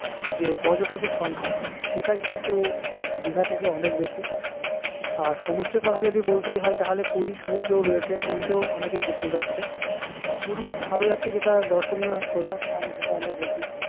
যে পর্যটকের সংখ্যা সেটা কিন্তু দিঘা থেকে অনেক বেশি আর সমুদ্র তা যদি বলতেই হয় তাহলে পুরীর সমুদ্র রয়েছে পুরিতেও অনেকে ঘুরতে যাচ্ছে পুরীর আরো একটা দর্শনীয় যেটা আমার এদেখি